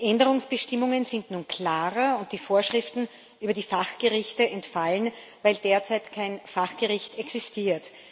Die Änderungsbestimmungen sind nun klarer, und die Vorschriften über die Fachgerichte entfallen, weil derzeit kein Fachgericht existiert.